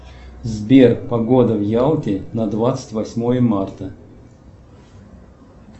сбер погода в ялте на двадцать восьмое марта